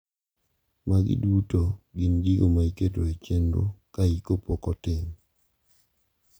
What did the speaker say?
Magi duto gin gigo ma iketo e chenro ka iko pok otim.